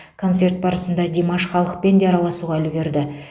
концерт барысында димаш халықпен де араласуға үлгерді